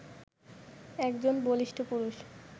একজন বলিষ্ঠ পুরুষ